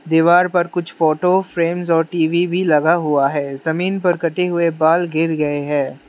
दीवार पर कुछ फोटो फ्रेम्स और टी_वी भी लगा हुआ है जमीन पर कटे हुए बाल गिर गए हैं।